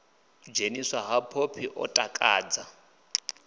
dzheniswa ha phophi ḽo takadza